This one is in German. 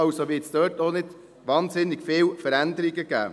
Also wird es dort auch nicht wahnsinnig viele Veränderungen geben.